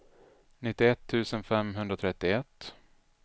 nittioett tusen femhundratrettioett